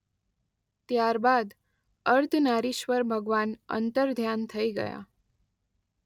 ત્યારબાદ અર્ધનારીશ્વર ભગવાન અંતર્ધ્યાન થઇ ગયા.